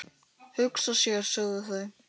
Hugsa sér, sögðu þau.